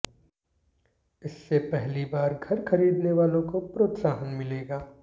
इससे पहली बार घर खरीदने वालों को प्रोत्साहन मिलेगा